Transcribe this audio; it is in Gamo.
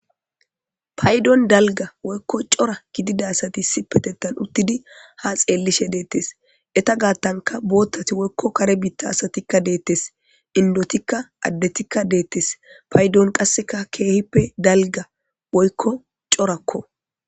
paydon dalga woykko cora gididasati si petettan uttidi ha xeellishe deettes eta gaattanka boottati woykko kare biitta asatikka deettes indotikka addetikka deettes paydon qasseka keehippe dalga boykko corakko